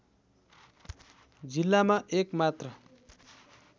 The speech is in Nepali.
जिल्लामा एक मात्र